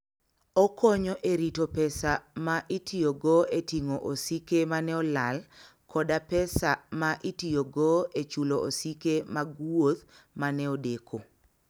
Okonyo e rito pesa ma itiyogo e ting'o osike ma ne olal koda pesa ma itiyogo e chulo osike mag wuoth ma ne odeko.